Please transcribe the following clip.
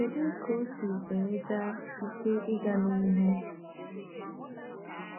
Kedu ka ọ si enweta ike ịga n’ihu?